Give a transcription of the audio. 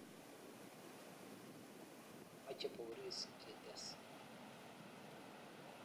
Mache Boris"kiites.